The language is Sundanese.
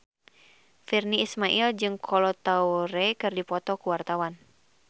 Virnie Ismail jeung Kolo Taure keur dipoto ku wartawan